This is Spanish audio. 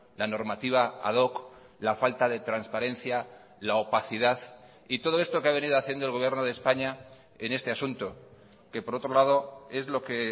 la normativa ad hoc la falta de transparencia la opacidad y todo esto que ha venido haciendo el gobierno de españa en este asunto que por otro lado es lo que